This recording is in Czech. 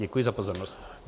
Děkuji za pozornost.